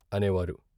" అనేవారు.